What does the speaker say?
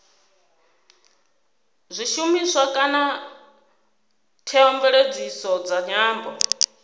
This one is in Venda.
zwishumiswa kana theomveledziso dza nyambo